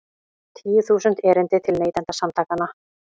Tíu þúsund erindi til Neytendasamtakanna